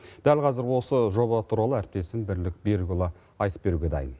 дәл қазір осы жоба туралы әріптесім бірлік берікұлы айтып беруге дайын